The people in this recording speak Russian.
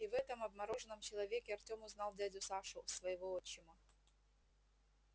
и в этом обмороженном человеке артём узнал дядю сашу своего отчима